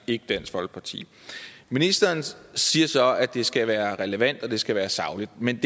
ikke dansk folkeparti ministeren siger så at det skal være relevant og det skal være sagligt men